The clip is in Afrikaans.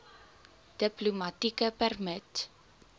diplomatieke permit